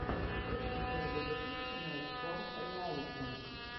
ищи первый выпуск найткор реалити